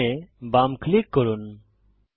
system এ বাম click করুন